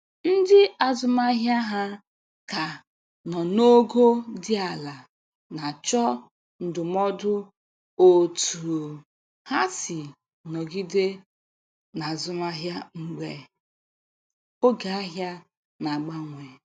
Ndị azụmahịa ha ka nọ n'ogo dị ala na-achọ ndụmọdụ otú ha si nọgide n'azụmahịa mgbe oge ahia na-agbanwe.